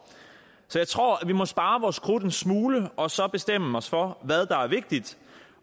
så jeg tror vi må spare vores krudt en smule og så bestemme os for hvad der er vigtigt